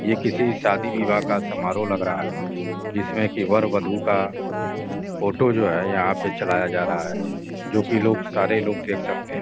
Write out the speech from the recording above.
ये किसी शादी विवाह का समारोह लग रहा है जिसमें कि वर वधु का फोटो जो है यहां पर चलाया जा रहा है जो कि लोग सारे लोग देख सकते हैं।